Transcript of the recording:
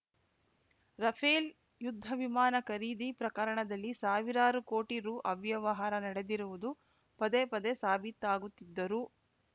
Rafale ಯುದ್ಧ ವಿಮಾನ ಖರೀದಿ ಪ್ರಕರಣದಲ್ಲಿ ಸಾವಿರಾರು ಕೋಟಿ ರೂ ಅವ್ಯವಹಾರ ನಡೆದಿರುವುದು ಪದೇಪದೇ ಸಾಬೀತಾಗುತ್ತಿದ್ದರೂ